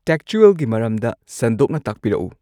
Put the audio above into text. ꯇꯦꯛꯆꯨꯋꯦꯜꯒꯤ ꯃꯔꯝꯗ ꯁꯟꯗꯣꯛꯅ ꯇꯥꯛꯄꯤꯔꯛꯎ